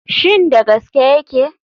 Shin da gaske yake?